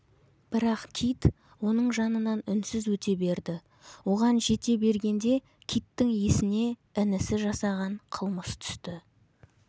бірақ кит оның жанынан үнсіз өте берді оған жете бергенде киттің есіне інісі жасаған қылмыс түс